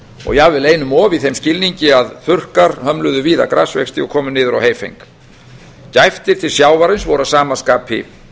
og jafnvel einum um of í þeim skilningi að þurrkar hömluðu víða grasvexti og komu niður á heyfeng gæftir til sjávarins voru að sama skapi